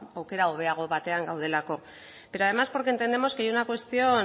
aukera hobeago batean gaudelako pero además porque entendemos que hay una cuestión